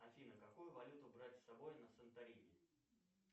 афина какую валюту брать с собой на санторини